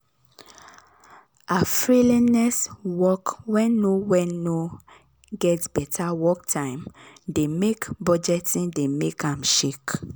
her work wen no wen no get better work time de make budgeting de make am shake